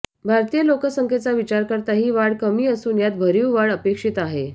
भारतीय लोकसंख्येचा विचार करता ही वाढ कमी असून यात भरीव वाढ अपेक्षित आहे